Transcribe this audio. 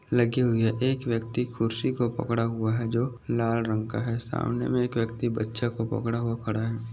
लगी हुई है। एक व्यक्ति कुर्सी को पकड़ा हुआ है जो लाल रंग का है। सामने मे एक व्यक्ति बच्चा को पकड़ा हुआ खड़ा है।